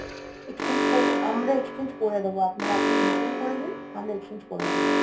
exchange করে আমরা exchange করে দিবো আপনার আপনি return করে নিন, আমরা exchange করে দিবো